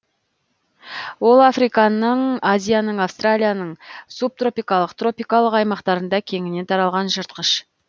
ол африканың азияның австралияның субтропикалық тропикалық аймақтарында кеңінен таралған жыртқыш